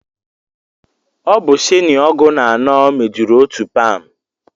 Ọ bụ shini ọgụ na anọ mejuru otu pam